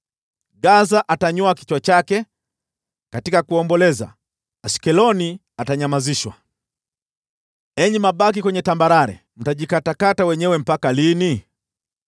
Gaza atanyoa kichwa chake katika kuomboleza, Ashkeloni atanyamazishwa. Enyi mabaki kwenye tambarare, mtajikatakata wenyewe mpaka lini?